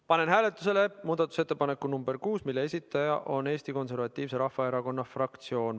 Panen hääletusele muudatusettepaneku nr 6, mille esitaja on Eesti Konservatiivse Rahvaerakonna fraktsioon.